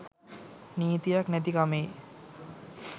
නීතියක් නැති කමෙයි.